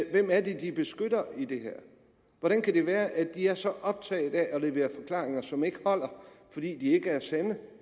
er det de beskytter i det her hvordan kan det være at de er så optaget af at levere forklaringer som ikke holder fordi de ikke er sande